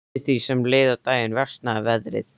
Eftir því sem leið á daginn versnaði veðrið.